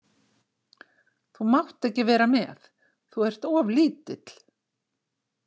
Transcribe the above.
Þú mátt ekki vera með, þú ert of lítill.